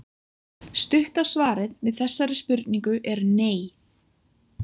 Stutta svarið við þessari spurningu er nei.